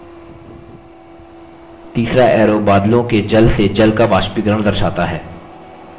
तीसरा arrow बादलों के जल से जल का वाष्पीकरण दर्शाता है